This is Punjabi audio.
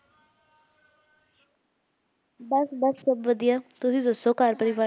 ਬਸ-ਬਸ ਸਭ ਵਧੀਆ ਤੁਸੀਂ ਦੱਸੋ ਘਰ ਪਰਿਵਾਰ